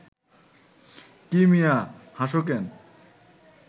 কী মিয়া, হাসো ক্যান